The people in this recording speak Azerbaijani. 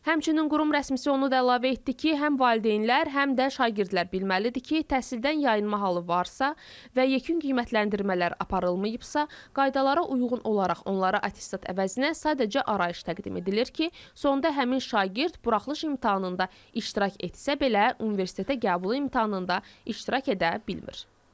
Həmçinin qurum rəsmisi onu da əlavə etdi ki, həm valideynlər, həm də şagirdlər bilməlidir ki, təhsildən yayınma halı varsa və yekun qiymətləndirmələr aparılmayıbsa, qaydalara uyğun olaraq onlara attestat əvəzinə sadəcə arayış təqdim edilir ki, sonda həmin şagird buraxılış imtahanında iştirak etsə belə universitetə qəbul imtahanında iştirak edə bilmir.